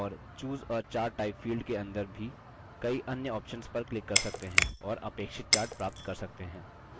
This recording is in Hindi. और choose a chart type field के अंदर भी कई अन्य options पर क्लिक कर सकते हैं और अपेक्षित chart प्राप्त कर सकते हैं